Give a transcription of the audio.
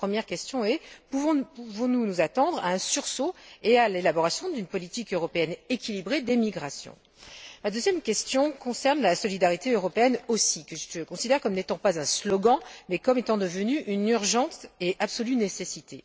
Ma première question est la suivante pouvons nous nous attendre à un sursaut et à l'élaboration d'une politique européenne équilibrée d'émigration? Ma deuxième question concerne la solidarité européenne aussi, que je considère comme n'étant pas un slogan, mais comme étant devenue une urgente et absolue nécessité.